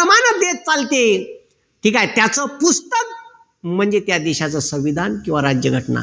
चालते. ठीक आहे. त्याच पुस्तक म्हणजे त्या देशाचं संविधान किंवा राज्यघटना.